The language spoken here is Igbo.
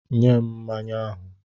Nye m mmanya ahụ!